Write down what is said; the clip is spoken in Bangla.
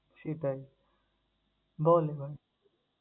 সেটাই বল এবার